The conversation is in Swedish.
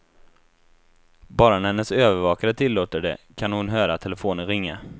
Bara när hennes övervakare tillåter det kan hon höra telefonen ringa.